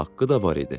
Haqqı da var idi.